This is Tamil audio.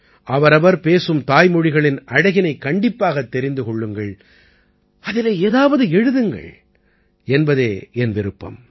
அவரவர் பேசும் தாய்மொழிகளின் aழகினைக் கண்டிப்பாகத் தெரிந்து கொள்ளுங்கள் அதிலே ஏதாவது எழுதுங்கள் என்பதே என் விருப்பம்